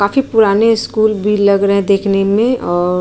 बाकि पुराने स्कूल भी लग रहे हैं दिखने में।